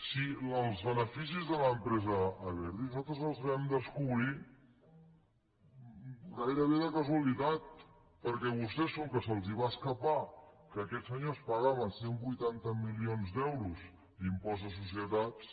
si els beneficis de l’empresa abertis nosaltres els vam descobrir gairebé de casualitat perquè a vostès com que se’ls va escapar que aquests senyors pagaven cent i vuitanta milions d’euros d’impost de societats